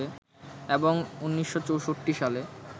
এবং ১৯৬৪ সালে